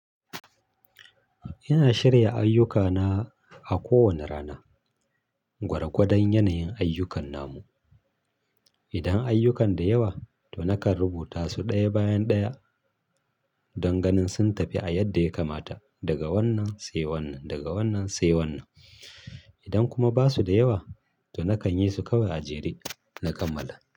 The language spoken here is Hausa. Ina shirya ayyukana a kowane rana gwargwadon yanayin ayyukan namu. Idan ayyukan da yawa, to nakan rubuta su ɗaya bayan ɗaya don ganin sun tafi a yadda ya kamata daga wannan sai wannan, daga wannan sai wannan. Idan kuma basu da yawa, to nakan yi su kawai a jere na kammala.